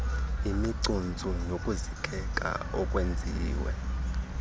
imicuntsu nokusikeka okwenziwe